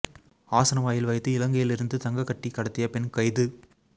ஆசன வாயில் வைத்து இலங்கையிலிருந்து தங்கக் கட்டி கடத்திய பெண் கைது